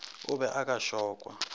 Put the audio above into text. o be o ka šokwa